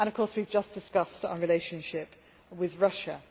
We have just discussed our relationship with Russia.